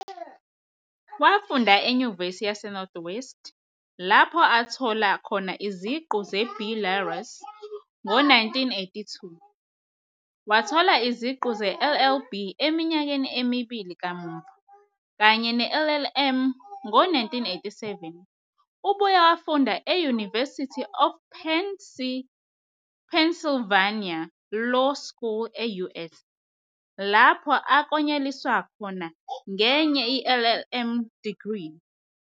Wafunda eNyuvesi yaseNorth-West lapho athola khona iziqu ze-B.luris ngo-1982, wathola iziqu ze-LLB eminyakeni emibili kamuva, kanye ne-LLM ngo-1987. Ubuye wafunda e-University of Pennsylvania Law School e-US, lapho aklonyeliswa khona ngenye i-LLM degree.